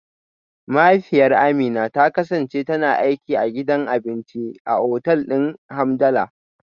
Mahaifiyar Amina ta kasance tana aiki a gidan abinci a otal din Hamdala.